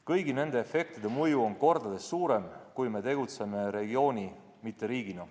Kõigi nende efektide mõju on kordades suurem, kui me tegutseme regiooni, mitte riigina.